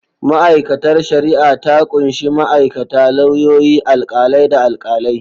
Ma’aikatar shari’a ta kunshi ma’aikata, lauyoyi, alkalai, da alkalai.